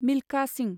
Milkha Singh